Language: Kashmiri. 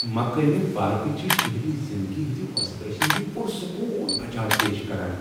مقٲمی پارکہٕ چھ شہری زندگی ہنٛزِ وۄسہِ درۄسہِ نش پرسکون بچاو پیش کران۔